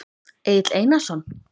Egill Einarsson?